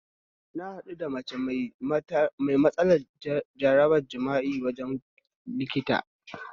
Na haɗu da mace mai matsalar jarabar jima'i a wajen likita